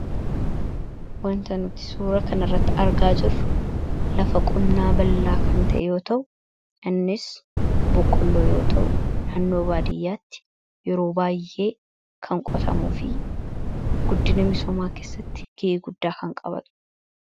Wanti nuti suuraa kanarratti argaa jirru lafa qonnaa bal'dhaa kan ta’e yoo ta’u, innis boqqolloo yoo ta’u, naannoo baadiyyaatti yeroo baay'ee kan qotamuu fi guddina misoomaa keessatti gahee guddaa kan qabaatudha.